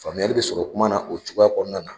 Faamuyali bɛ sɔrɔ kuma na o cogoya kɔnɔna na.